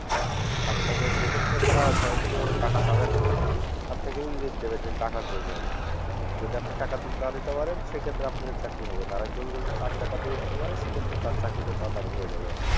আপনাকে সেক্ষত্রে তারা সরাসরিভাবে টাকা চাবেনা আপনাকে ইঙ্গিত দেবে যে টাকার প্রয়োজন যদি আপনি টাকা না দিতে পারেন সেক্ষেত্রে আপনি চাকরি হবে না আরেকজন যদি তার টাকা দিয়ে দিতে পারে সেক্ষত্রে তার চাকরিটা তাড়াতাড়ি হয়ে যাবে